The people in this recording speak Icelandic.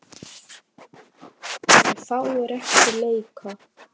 Munu fáir eftir leika.